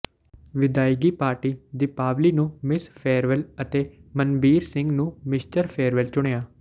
ਵਿਦਾਇਗੀ ਪਾਰਟੀ ਦੀਪਾਵਲੀ ਨੂੰ Miss Farewell ਅਤੇ ਮਨਬੀਰ ਸਿੰਘ ਨੂੰ ਮਿਸਟਰ ਫੇਅਰਵੈਲ ਚੁਣਿਆ